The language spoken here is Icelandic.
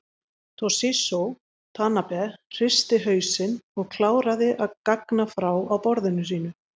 Toshizo Tanabe hristi hausinn og kláraði að gagna frá á borðinu sínu.